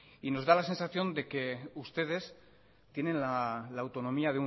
nos da la sensación de que ustedes tienen la autonomía